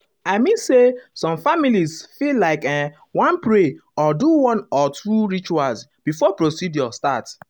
i mean say some families fit like[um]wan pray or do one or one or two rituals before procedure start.